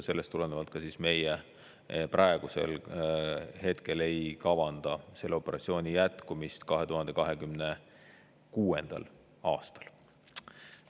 Sellest tulenevalt ka meie praegusel hetkel ei kavanda selle operatsiooni jätkumist 2026. aastal.